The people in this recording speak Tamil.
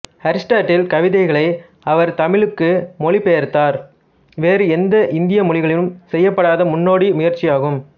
அரிஸ்டாட்டில் கவிதைகளை அவர் தமிழுக்கு மொழிபெயர்த்தார் வேறு எந்த இந்திய மொழிகளிலும் செய்யப்படாத முன்னோடி முயற்சியாகும்